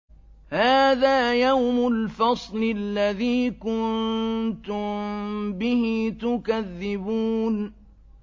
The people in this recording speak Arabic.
هَٰذَا يَوْمُ الْفَصْلِ الَّذِي كُنتُم بِهِ تُكَذِّبُونَ